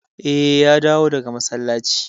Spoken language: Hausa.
Eh, ya dawo daga masallaci.